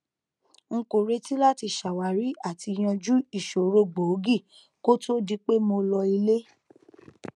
n kò retí láti ṣàwárí àti yanjú ìṣòro gbòógì kó to di pé mo lọ ilé